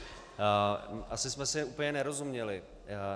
Asi jsme si úplně nerozuměli.